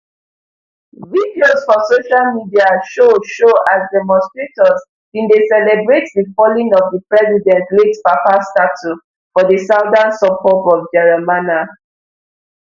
videos for social media show show as demonstrators bin dey celebrate di falling of di president late papa statue for di southern suburb of jeramana